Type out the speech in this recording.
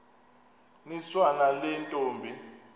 niswa nale ntombi